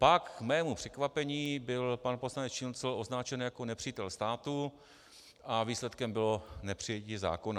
Pak k mému překvapení byl pan poslanec Šincl označen jako nepřítel státu a výsledkem bylo nepřijetí zákona.